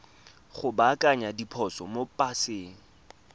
go baakanya diphoso mo paseng